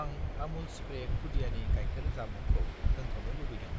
आं आमुल स्प्रे खुदियानि गायखेर जामुंखौ दोनथ'नो लुबैदों,